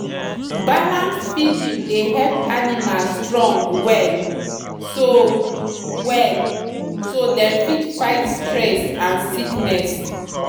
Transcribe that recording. balanced feeding dey help animal strong well so well so dem fit fight stress and sickness.